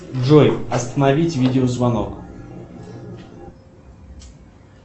джой остановить видео звонок